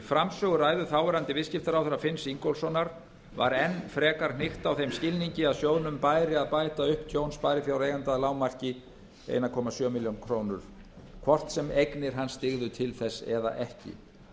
framsöguræðu þáverandi viðskiptaráðherra finns ingólfssonar var enn frekar hnykkt á þeim skilningi að sjóðnum bæri að bæta upp tjón sparifjáreigenda að lágmarki einn komma sjö milljónir króna hvort sem eignir hans dygðu til þess eða ekki